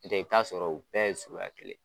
N' tɛ i bi t'a sɔrɔ u bɛɛ ye suguya kelen ye.